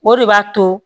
O de b'a to